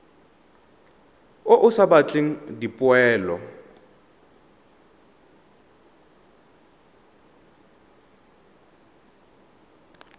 o o sa batleng dipoelo